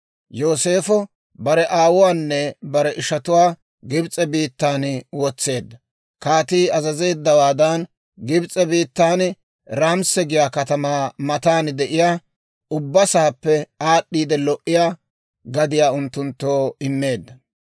Yooseefo bare aawuwaanne bare ishatuwaa Gibs'e biittan wotseedda; kaatii azazeeddawaadan Gibs'e biittan Raamisa giyaa katamaa matan de'iyaa, ubba saappe aad'd'iide lo"iyaa gadiyaa unttunttoo immeedda.